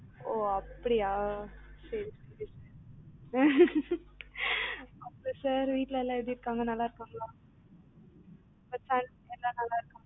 ஓ அப்படியா சரி சரி ம் sir வீட்ல எல்லா எப்படி இருக்கீங்க நல்லாருக்காங்களா உங்க son எல்லாம் நல்லாருக்காங்களா